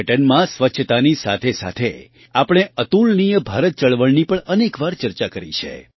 પર્યટનમાં સ્વચ્છતાની સાથેસાથે આપણે અતુલનીય ભારત ચળવળની પણ અનેક વાર ચર્ચા કરી છે